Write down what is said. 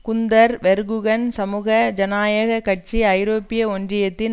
Gunder Verheugen சமூக ஜனநாயக கட்சி ஐரோப்பிய ஒன்றித்தின்